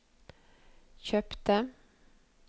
kjøpte